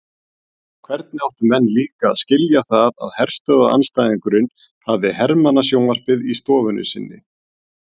Hvernig áttu menn líka að skilja það að herstöðvaandstæðingurinn hafði hermannasjónvarpið í stofunni sinni?